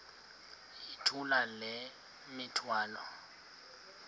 yithula le mithwalo